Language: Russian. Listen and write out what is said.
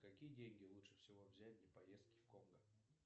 какие деньги лучше всего взять для поездки в конго